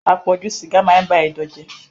Àpọ̀jù sìgá maá ń ba Ẹdọ̀ jẹ́.